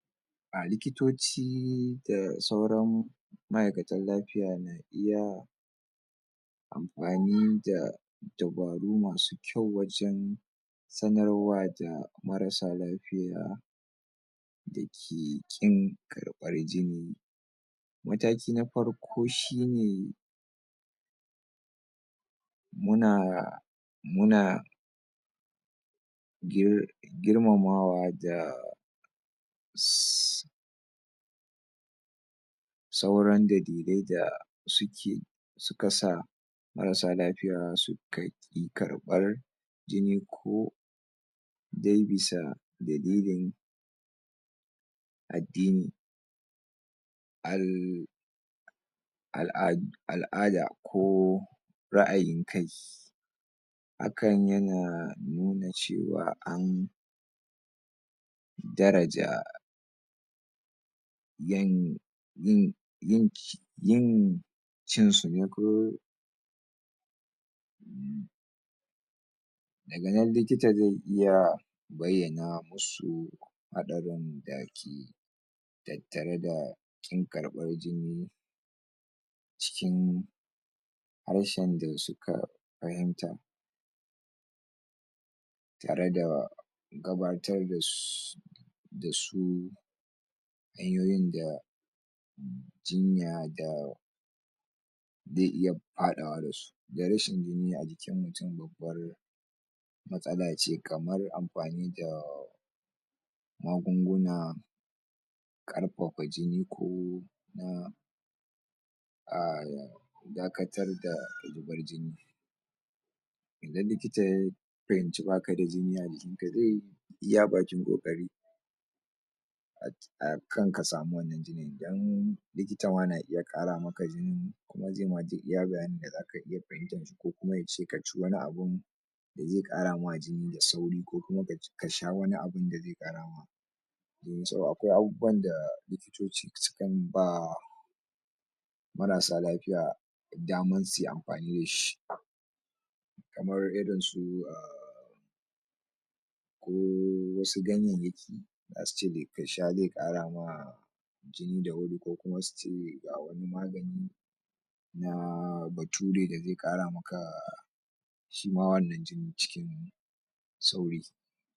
a likitoci da sauran ma'ikatan lafiya iya anfani da dabaru masu kyau wajan sanarwa da marasa lapiya dake ƙin da kwar jini matakina farko shi ne muna muna gir girmamawa da sauran dalilai da suke suks sa marasa lafiya suka ƙi karbar jini ko dai bisa dalilin addini al al'a al'ada ko ra'ayin kai hakan yan nuna cewa an daraja yan yin yink yin cin sune ko sanan likita ze iya bayyana musu hadarin tattareda ƙin karbar jini cikin harshen da suka fahimta tareda gabatar da su da su hanyyoyin da jinya da de iya faawa dasu da rashin jini ajikin mutun mtsala ce kamar anfani da magunguna ƙarfafa jini ko um dakatar da da likita ya fahimci bakada jini ajikn ka ze iya bakin kokari akan kasamu wani dan likitama na iya ƙara maka jini kuma zema duk iya bayani da ko kuma yace kaci wani abun ze karama jini da sauri ko kuma ka ci ka sha wani abu akwai abubuwan da likitoci sukan ba marasa lafiya dama suyi anfani da shi kamar irinsu ko um wasu ganyeye ki dasu da ka sha ze karama jini da wuri ko kuma suce na bature da ze ƙara maka shima wannan jini ciki.